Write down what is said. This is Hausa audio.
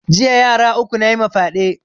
Jiya yara uku nayima fyaɗe